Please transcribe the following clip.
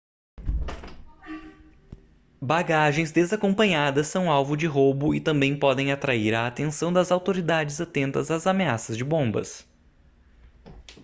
bagagens desacompanhadas são alvo de roubo e também podem atrair a atenção das autoridades atentas às ameaças de bombas